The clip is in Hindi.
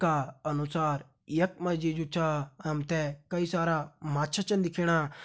का अनुसार यख मा जी जु छा हम ते कई सारा माछा छन दिखेणा।